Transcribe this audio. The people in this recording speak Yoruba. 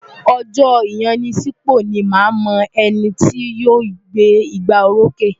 Ọjọ́ ìyanisípò ni màá mọ ẹni tí yóò gbé igbárókè.